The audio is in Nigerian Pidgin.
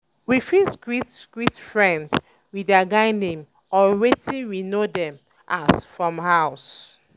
we fit greet greet friend um with their guy name or wetin um we know dem as um from house